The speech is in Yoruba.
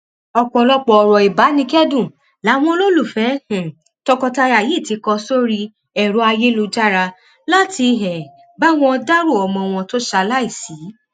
ọpọlọpọ ọrọ ìbánikẹdùn làwọn olólùfẹ um tọkọtaya yìí ti kọ sórí ẹrọ ayélujára láti um bá wọn dárò ọmọ wọn tó ṣaláìsí